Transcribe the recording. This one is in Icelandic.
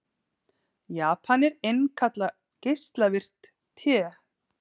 Japanar innkalla geislavirkt te